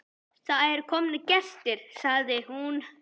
Það eru komnir gestir, sagði hún.